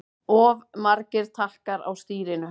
Of margir takkar á stýrinu